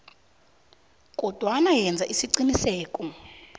kodwana yenza isiqiniseko